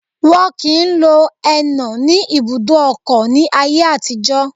Wọn kìí lo ẹnà ní ibùdó ọkọ̀ ní ayé àtijọ́